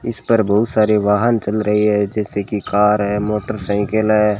इस पर बहुत सारे वाहन चल रहे हैं किसी की कार है मोटरसाइकिल हैं।